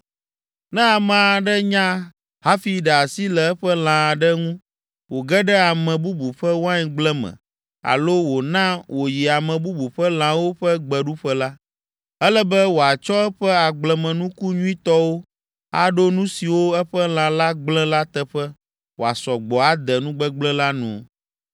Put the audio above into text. “Ne ame aɖe nya hafi ɖe asi le eƒe lã aɖe ŋu wòge ɖe ame bubu ƒe waingble me alo wòna wòyi ame bubu ƒe lãwo ƒe gbeɖuƒe la, ele be wòatsɔ eƒe agblemenuku nyuitɔwo aɖo nu siwo eƒe lã la gblẽ la teƒe wòasɔ gbɔ ade nugbegblẽ la nu.